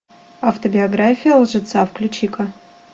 автобиография лжеца включи ка